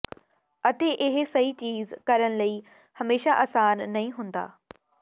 ਅਤੇ ਇਹ ਸਹੀ ਚੀਜ਼ ਕਰਨ ਲਈ ਹਮੇਸ਼ਾ ਅਸਾਨ ਨਹੀਂ ਹੁੰਦਾ